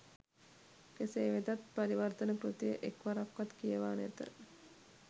කෙසේ වෙතත් පරිවර්තන කෘතිය එක් වරක්වත් කියවා නැත